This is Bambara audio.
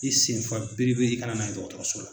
I senfa biribiri i ka na n'a ye dɔgɔtɔrɔso la.